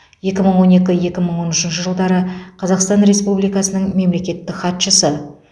екі мың он екі екі мың он үшінші жылдары қазақстан республикасының мемлекеттік хатшысы